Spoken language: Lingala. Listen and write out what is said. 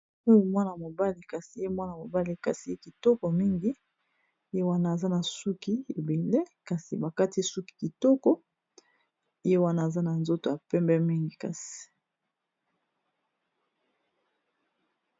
Oyo mwana mobali kasi ye mwana mobali kasi ye kitoko mingi ye wana aza na suki ebele kasi bakati suki kitoko ye wana aza na nzoto ya pembe mingi kasi.